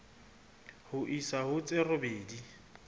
ho isa ho tse robedi